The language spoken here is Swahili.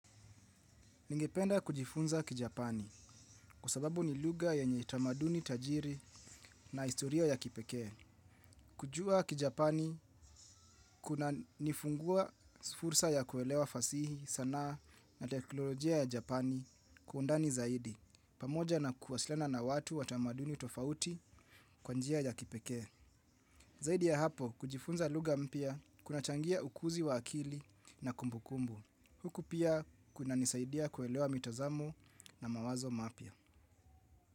Ningependa kujifunza kijapani kwa sababu ni lugha yenye tamaduni tajiri na historia ya kipekee. Kujua kijapani kuna nifungua fursa ya kuelewa fasihi sanaa na teknolojia ya japani kwa undani zaidi. Pamoja na kuwasiliana na watu watamaduni tofauti kwa njia ya kipekee. Zaidi ya hapo kujifunza lugha mpya kuna changia ukuuzi wa akili na kumbukumbu. Huku pia kunanisaidia kuelewa mitazamo na mawazo mapya.